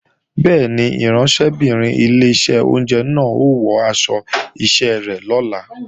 Bẹ́ẹ̀ni, ìránṣẹ́bìnrin ilé oúnjẹ náà ó wọ aṣọ iṣẹ́ rẹ̀ lọ́la